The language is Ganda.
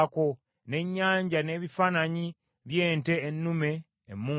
n’Ennyanja n’ebifaananyi by’ente ennume emumbe,